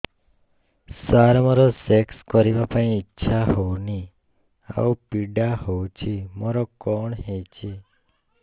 ସାର ମୋର ସେକ୍ସ କରିବା ପାଇଁ ଇଚ୍ଛା ହଉନି ଆଉ ପୀଡା ହଉଚି ମୋର କଣ ହେଇଛି